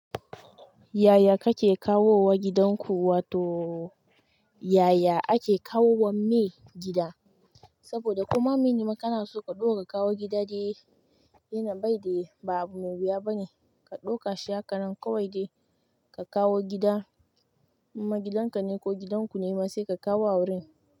Yaya kake kawowa gidan ku? Wato yaya ake kawowa me gida? Saboda koma mene ma kana so ka ɓoye ka kawo gida de, yana baida ba abu mai wuya bane. Ka ɗauka shi hakan nan kawai dai ka kawo gida na gidan ka ne, ko gidan ku ne ma se ka kawo a wurin.